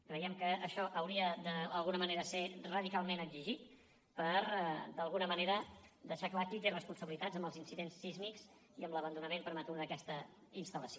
creiem que això hauria de d’alguna manera ser radicalment exigit per d’alguna manera deixar clar qui té responsabilitats en els incidents sísmics i en l’abandonament prematur d’aquesta instal·lació